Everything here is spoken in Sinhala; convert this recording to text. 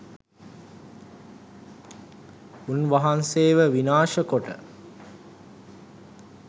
උන්වහන්සේව විනාශ කොට